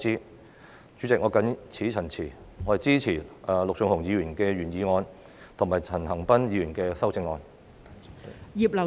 代理主席，我謹此陳辭，支持陸頌雄議員的原議案及陳恒鑌議員的修正案。